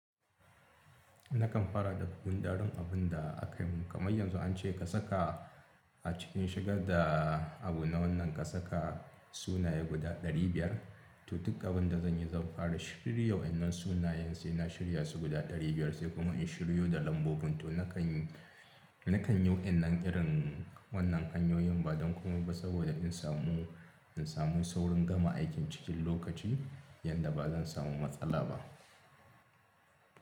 Nakan fara da gundaron abun da akai man, kamar yanzu an ce ka saka a cikin shigar da abu na wannan ka saka sunaye guda ɗari biyar, to duk abun da zan yi zan fara shirya wainan sunayen sai na shirya su guda ɗari biyar sai kuma in shiryo da lambobin. To na kan yi, na kan yi winan irin wannan hanyoyin ba don komai ba saboda in samu, in samu saurin gama aikin cikin lokaci yadda ba zan samu matsala ba.